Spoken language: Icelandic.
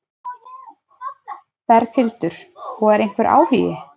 Berghildur: Og er einhver áhugi?